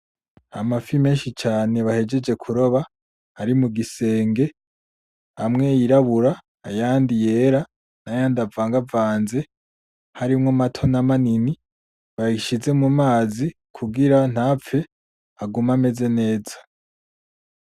Amafi menshi cane bahejeje kuroba arimugisenge amwe yirabura ayandi yera n'ayandi avangavanze harimo mato namanini bayashize mumazi kugira ntapfe agume ameze neza.